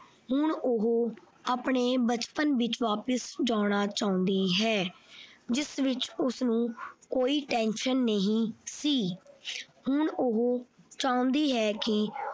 ਹੁਣ ਉਹ ਆਪਣੇ ਬਚਪਨ ਵਿੱਚ ਵਾਪਿਸ ਜਾਣਾ ਚਾਹੁੰਦੀ ਹੈ ਜਿਸ ਵਿੱਚ ਉਸਨੂੰ ਕੋਈ ਣ tension ਨਹੀਂ ਸੀ ਹੁਣ ਉਹ ਚਾਹੁੰਦੀ ਹੈ ਕਿ।